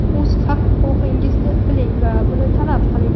o‘z haq-huquqingizni biling va buni talab qiling.